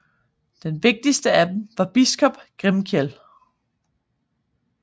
Den vigtigste af dem var biskop Grimkjell